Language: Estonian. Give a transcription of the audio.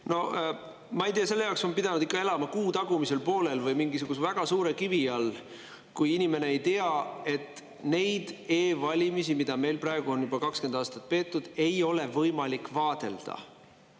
No ma ei tea, siis on tulnud elada kuu tagumisel poolel või mingisuguse väga suure kivi all, kui inimene ei tea, et neid e-valimisi, mida meil praegu on juba 20 aastat tehtud, ei ole võimalik vaadelda.